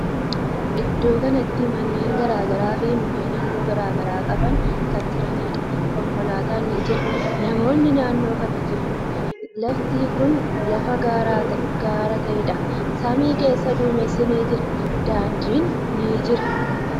Iddoo kanatti manneen garagaraa fi mukkeen haalluu garagaraa qaban kan jiraniidha. Konkolaatan ni jira. Namoonni naannoo kan ni jiru. Lafti kuni lafa gaara ta'eedha. Samii keessa duumessi ni jira. Daandin ni jira.